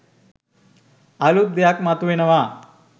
අලුත් දෙයක් මතු වෙනවා